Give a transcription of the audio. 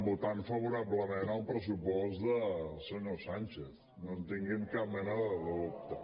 votant favorablement el pressupost del senyor sánchez no en tinguin cap mena de dubte